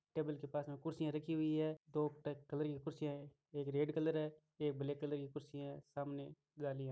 table के पास में कुर्सियां रखी हुई है टॉप टाईप कलर की कुर्सियां है एक रेड कलर है एक ब्लेक कलर की कुर्सियां है सामने घाली --